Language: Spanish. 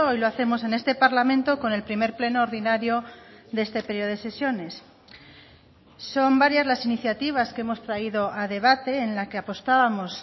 lo hacemos en este parlamento con el primer pleno ordinario de este periodo de sesiones son varias las iniciativas que hemos traído a debate en la que apostábamos